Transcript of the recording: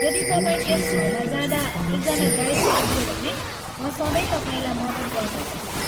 यदि तपाईँ त्यस ठाउँमा जाँदा एकजना गाइड चाहियो भने, म सधैँ तपाईँलाई मद्दत गर्न सक्छु।